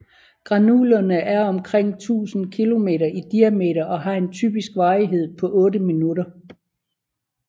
Granulene er omkring 1000 km i diameter og har en typisk varighed på 8 minutter